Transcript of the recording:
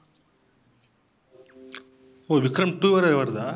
ஓ! Vikram two வேற வருதா?